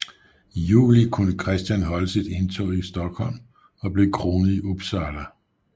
I juli kunne Christian holde sit indtog i Stockholm og blev kronet i Uppsala